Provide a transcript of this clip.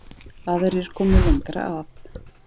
Aðrir komu lengra að